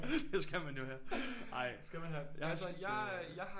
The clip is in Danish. Det skal man jo have ej jeg har øh